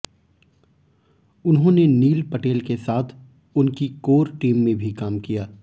उन्होंने नील पटेल के साथ उनकी कोर टीम में भी काम किया